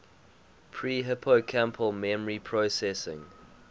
pre hippocampal memory processing